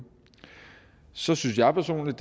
så synes jeg personligt